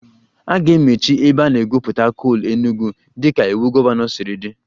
A ga-emechi ebe a na-egwupụta coal Enugwu dịka iwu gọvanọ siri dị